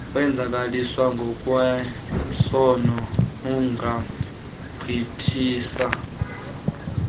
wenzakaliswa ngokwesondo ungagqithisa